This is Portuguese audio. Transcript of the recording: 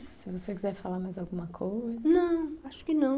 Se você quiser falar mais alguma coisa... Não, acho que não.